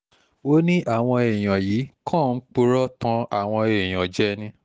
ó ní àwọn èèyàn yìí kàn ń purọ́ tan àwọn èèyàn jẹ ni